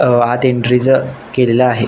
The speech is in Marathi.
अ आत एन्ट्री केलेल आहे.